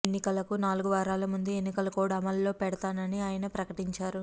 ఎన్నికలకు నాలుగువారాల ముందు ఎన్నికల కోడ్ అమలులో పెడతానని ఆయన ప్రకటించారు